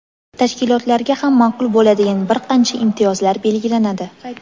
tashkilotlarga ham ma’qul bo‘ladigan bir qancha imtiyozlar belgilanadi.